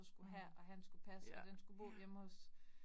Mh. Ja, ja